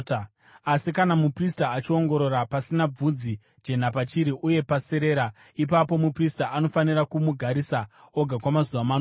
Asi kana muprista achiongorora, pasina bvudzi jena pachiri uye paserera, ipapo muprista anofanira kumugarisa oga kwamazuva manomwe.